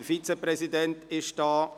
Der Vizepräsident ist ebenfalls da.